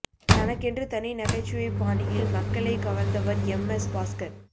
தனக்கென்று தனி நகைச்சுவை பாணியில் மக்களை கவர்ந்தவர் எம் எஸ் பாஸ்கர்